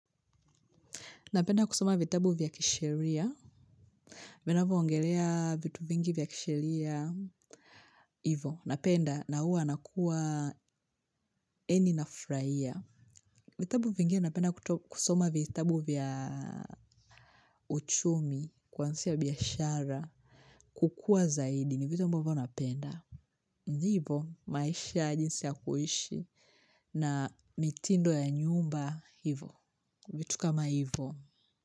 Napenda kusoma vitabu vya kisheria. Vinavyo ongelea vitu vingi vya kisheria. Hivyo. Napenda na hua nakuwa eni nafurahia. Vitabu vingi napenda kusoma vitabu vya uchumi. Kwanzisha biashara. Kukua zaidi ni vitu ambavyo napenda. Hivyo maisha jinsi ya kuishi. Na mitindo ya nyumba hivyo. Vitu kama hivyo.